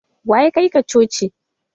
Waya kai ka coci?